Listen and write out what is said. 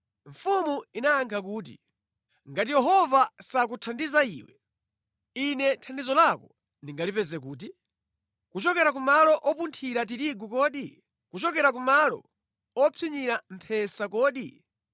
Mfumu inayankha kuti, “Ngati Yehova sakuthandiza iwe, ine thandizo lako ndingalipeze kuti? Kuchokera ku malo opunthira tirigu kodi? Kuchokera kumalo opsinyira mphesa kodi?”